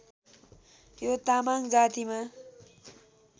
यो तामाङ जातिमा